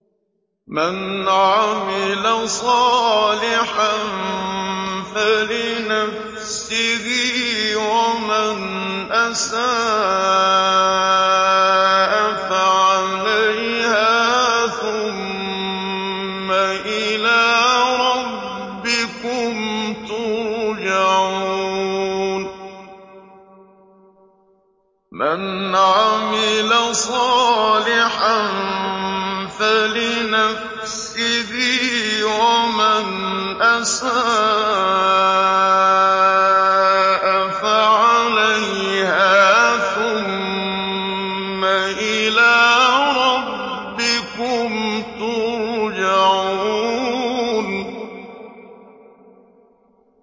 مَنْ عَمِلَ صَالِحًا فَلِنَفْسِهِ ۖ وَمَنْ أَسَاءَ فَعَلَيْهَا ۖ ثُمَّ إِلَىٰ رَبِّكُمْ تُرْجَعُونَ